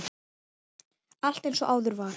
Allt eins og áður var.